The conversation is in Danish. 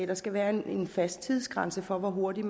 der skal være en fast tidsgrænse for hvor hurtigt